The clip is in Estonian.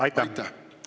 Aitäh!